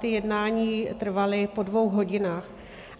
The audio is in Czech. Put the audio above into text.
Ta jednání trvala po dvou hodinách